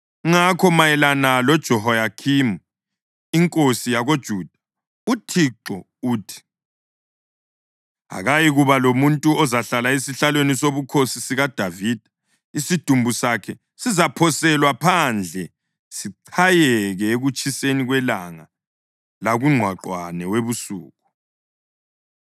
Ngakho mayelana loJehoyakhimi inkosi yakoJuda, uThixo uthi: Akayikuba lomuntu ozahlala esihlalweni sobukhosi sikaDavida; isidumbu sakhe sizaphoselwa phandle sichayeke ekutshiseni kwelanga lakungqwaqwane webusuku.